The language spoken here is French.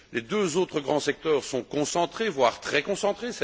Les deux autres grands secteurs sont concentrés, voire très concentrés.